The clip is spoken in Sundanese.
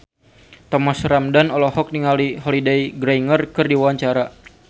Thomas Ramdhan olohok ningali Holliday Grainger keur diwawancara